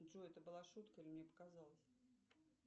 джой это была шутка или мне показалось